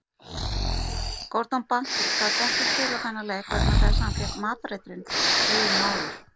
Gordon Banks gat ekki spilað þennan leik vegna þess að hann fékk matareitrun deginum áður.